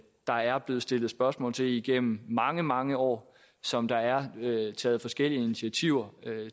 der er blevet stillet spørgsmål til igennem mange mange år og som der er taget forskellige initiativer